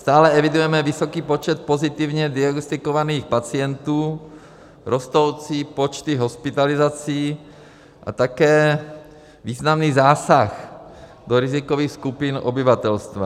Stále evidujeme vysoký počet pozitivně diagnostikovaných pacientů, rostoucí počty hospitalizací a také významný zásah do rizikových skupin obyvatelstva.